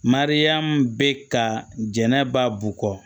Mariyamu bɛ ka jɛnɛba bukɔ